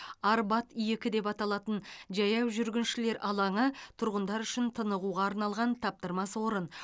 арбат екі деп аталатын жаяу жүргіншілер алаңы тұрғындар үшін тынығуға арналған таптырмас орын